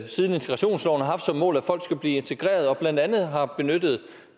siden integrationsloven har haft som mål at folk skal blive integreret og blandt andet har benyttet